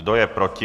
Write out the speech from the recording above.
Kdo je proti?